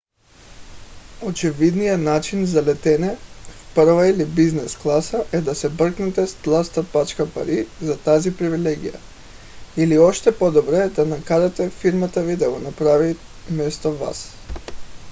очевидният начин за летене в първа или бизнес класа е да се бръкнете с тлъста пачка пари за тази привилегия или още по - добре да накарате фирмата ви да го направи вместо вас